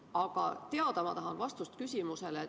Aga ma tahan teada vastust niisugusele küsimusele.